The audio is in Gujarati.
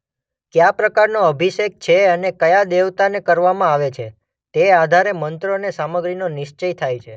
કયા પ્રકારનો અભિષેક છે અને કયા દેવતાને કરવામાં આવે છે તે આધારે મંત્રો અને સામગ્રીનો નિશ્ચય થાય છે.